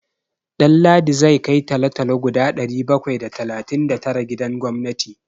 Ɗanladi zai kai talo-talo guda ɗari bakwai da talatin da tara gidan gwamnati.